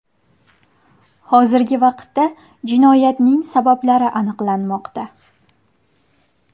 Hozirgi vaqtda jinoyatning sabablari aniqlanmoqda.